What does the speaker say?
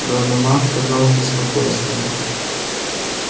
донован сказал с беспокойством